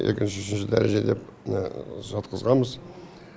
екінші үшінші дәреже деп сатқызғанбыз